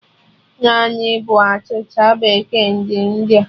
Naanụ bụ achịcha bekee ndị India